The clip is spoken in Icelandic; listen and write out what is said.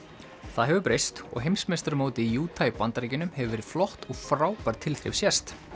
það hefur breyst og heimsmeistaramótið í Utah í Bandaríkjunum hefur verið flott og frábær tilþrif sést